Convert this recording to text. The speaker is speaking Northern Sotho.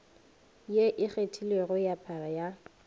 e ikgethilego ya para ya